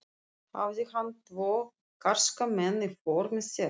Hafði hann tvo karska menn í för með sér.